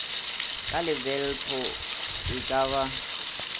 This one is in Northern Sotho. ka lebelpo e ka ba